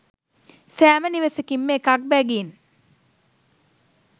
සෑම නිවසකින්ම එකක් බැගින්